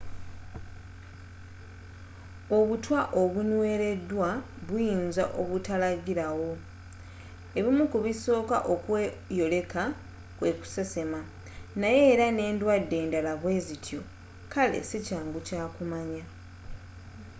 obutwa obunnweleddwa buyinza obutalagila wo ebimu ku bisoka okweyoleka kwe kusesema naye era n'eddwade enddala bwezityo kale sikyangu kumanya